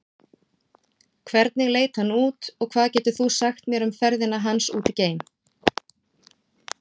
Hvernig leit hann út og hvað getur þú sagt mér um ferðina hans út geim?